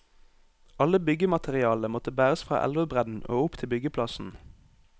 Alle byggematerialene måtte bæres fra elvebredden og opp til byggeplassen.